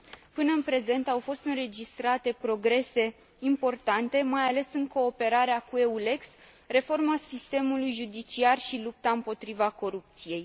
Până în prezent, au fost înregistrate progrese importante, mai ales în cooperarea cu EULEX, reforma sistemului judiciar și lupta împotriva corupției.